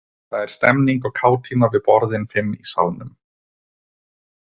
Það er stemmning og kátína við borðin fimm í salnum.